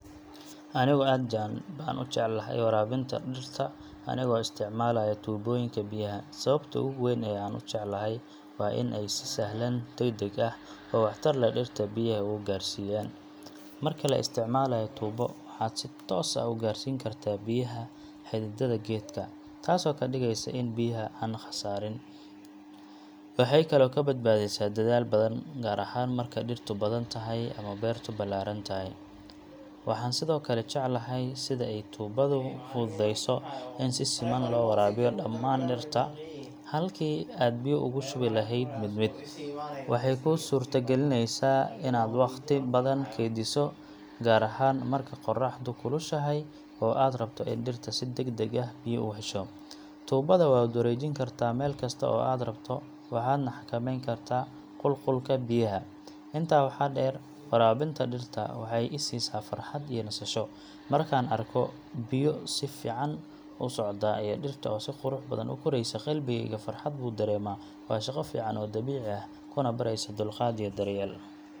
Anigu aad baan u jeclahay waraabinta dhirta anigoo isticmaalaya tuubooyinka biyaha. Sababta ugu weyn ee aan u jecelahay waa in ay si sahlan, degdeg ah, oo waxtar leh dhirta biyaha ugu gaarsiiyaan. Marka la isticmaalayo tuubo, waxaad si toos ah u gaarsiin kartaa biyaha xididdada geedka, taasoo ka dhigeysa in biyaha aan khasaarin. Waxay kaloo kaa badbaadisaa dadaal badan, gaar ahaan marka dhirtu badan tahay ama beertu ballaaran tahay. Waxaan sidoo kale jeclahay sida ay tuubadu u fududeyso in si siman loo waraabiyo dhammaan dhirta, halkii aad biyo ugu shubi lahayd mid mid. Waxay kuu suurtagelinaysaa inaad wakhti badan keydiso, gaar ahaan marka qorraxdu kulushahay oo aad rabto in dhirta si degdeg ah biyo u hesho. Tuubada waad wareejin kartaa meel kasta oo aad rabto, waxaadna xakameyn kartaa qulqulka biyaha. Intaa waxaa dheer, waraabinta dhirta waxay i siisaa farxad iyo nasasho. Markaan arko biyaha oo si fiican u socda iyo dhirta oo si qurux badan u koraysa, qalbigayga farxad buu dareemaa. Waa shaqo fiican oo dabiici ah, kuna baraysa dulqaad iyo daryeel.